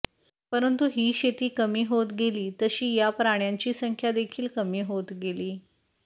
परंतु ही शेती कमी होत गेली तशी या प्राण्यांची संख्या देखील कमी होत गेली